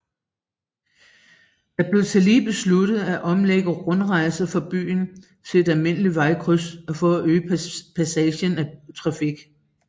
Det blev tillige besluttet at omlægge rundkørslen for biler til et almindeligt vejkryds for at øge passagen af trafik